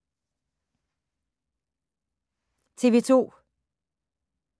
TV 2